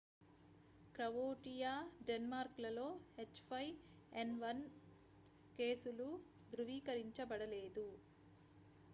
croatia denmark‌లలో h5n1 కేసులు ధృవీకరించబడలేదు